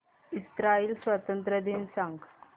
Israel स्वातंत्र्य दिन सांग